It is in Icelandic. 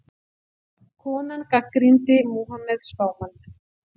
Konan gagnrýndi Múhameð spámann